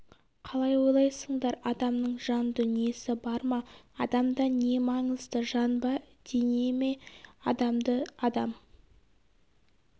қалай ойлайсыңдар адамның жан дүниесі бар ма адамда не маңызды жан ба дене ме адамды адам